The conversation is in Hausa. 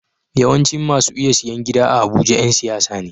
Yawancin masu iya siyan gida a abuja Yan siyasa ne